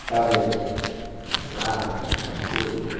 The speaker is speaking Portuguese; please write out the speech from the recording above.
uma placa, alguma coisa,